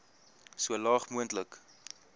so laag moontlik